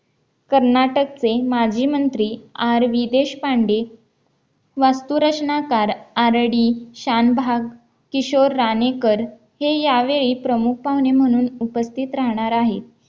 कर्नाटकचे माजी मंत्री आर्वी देशपांडे वास्तू रचनाकार आरडी शान भाग किशोर राणेकर हे यावेळी प्रमुख पाहुणे म्हणून उपस्थित राहणार आहेत